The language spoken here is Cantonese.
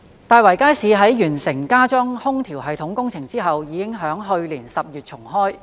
大圍街市在完成加裝空調系統工程後已於去年10月重開。